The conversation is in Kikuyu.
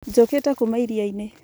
njokete kuma iriainĩ